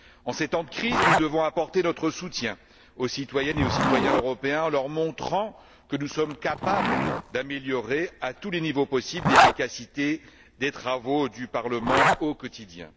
En ces temps de crise, nous devons apporter notre soutien aux citoyennes et aux citoyens européens en leur montrant que nous sommes capables d'améliorer, à tous les niveaux possibles, l'efficacité des travaux du Parlement au quotidien.